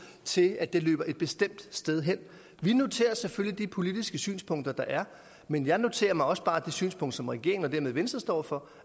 sige at den løber et bestemt sted hen vi noterer os selvfølgelig de politiske synspunkter der er men jeg noterer mig også bare det synspunkt som regeringen og dermed venstre står for